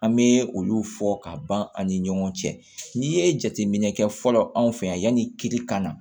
An bɛ olu fɔ ka ban an ni ɲɔgɔn cɛ n'i ye jateminɛ kɛ fɔlɔ anw fɛ yanni kiri ka na